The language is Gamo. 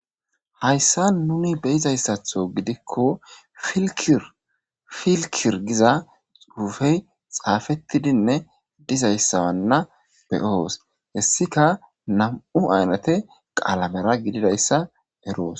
Hayssan nunni be'zzayssatho gidikko filkir filkir gizza xuffe xafetidinne dizzayssana beoo's.heyssikka nammu' aynathe qalamera gididayssa eroos.